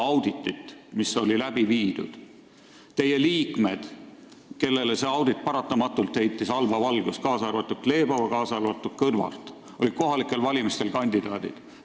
Teie erakonna liikmed, kellele see audit paratamatult halba valgust heitis, kaasa arvatud Glebova ja kaasa arvatud Kõlvart, olid kohalikel valimistel kandidaadid.